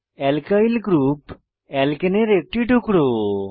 alkyl group আলকানে এর একটি টুকরো